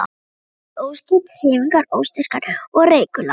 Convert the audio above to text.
Tal verður óskýrt, hreyfingar óstyrkar og reikular.